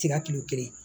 Tika ki kelen